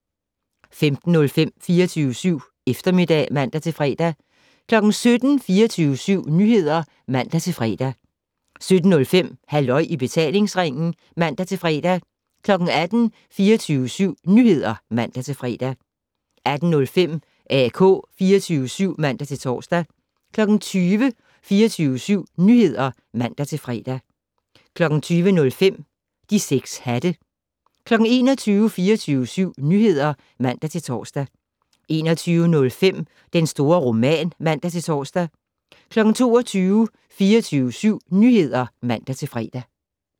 15:05: 24syv Eftermiddag (man-fre) 17:00: 24syv Nyheder (man-fre) 17:05: Halløj i betalingsringen (man-fre) 18:00: 24syv Nyheder (man-fre) 18:05: AK 24syv (man-tor) 20:00: 24syv Nyheder (man-fre) 20:05: De 6 hatte 21:00: 24syv Nyheder (man-tor) 21:05: Den store roman (man-tor) 22:00: 24syv Nyheder (man-fre)